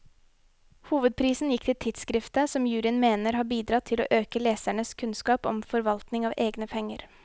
Hovedprisen gikk til tidskriftet, som juryen mener har bidratt til å øke lesernes kunnskap om forvaltning av egne penger.